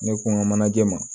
Ne ko n ka manaje ma